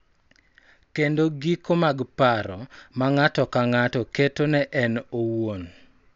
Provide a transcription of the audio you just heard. Kendo giko mag paro ma ng�ato ka ng�ato keto ne en owuon .